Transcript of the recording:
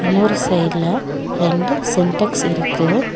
இன்னொரு சைடுல ரெண்டு சின்டெக்ஸ் இருக்கு.